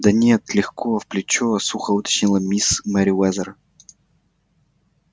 да нет легко в плечо сухо уточнила миссис мерриуэзер